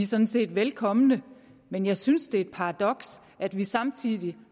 sådan set velkomne men jeg synes det er et paradoks at vi samtidig